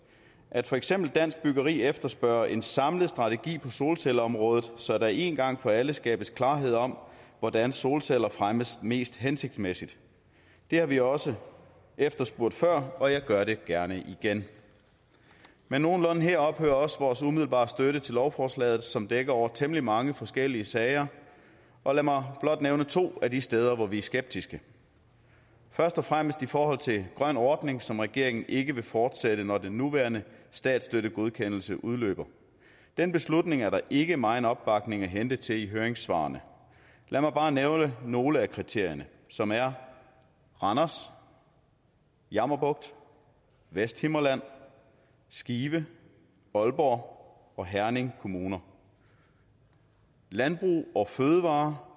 at for eksempel dansk byggeri efterspørger en samlet strategi på solcelleområdet så der en gang for alle skabes klarhed om hvordan solceller fremmes mest hensigtsmæssigt det har vi også efterspurgt før og jeg gør det gerne igen men nogenlunde her ophører også vores umiddelbare støtte til lovforslaget som dækker over temmelig mange forskellige sager og lad mig blot nævne to af de steder hvor vi er skeptiske først og fremmest i forhold til grøn ordning som regeringen ikke vil fortsætte når den nuværende statsstøttegodkendelse udløber den beslutning er der ikke megen opbakning at hente til i høringssvarene lad mig bare nævne nogle af kritikerne som er randers jammerbugt vesthimmerland skive aalborg og herning kommuner landbrug fødevarer